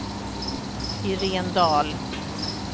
Irene Dahl